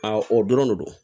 o dɔrɔn de do